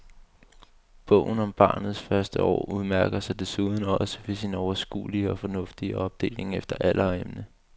Bogen om barnets første år udmærker sig desuden også ved sin overskuelige og fornuftige opdeling efter alder og emne.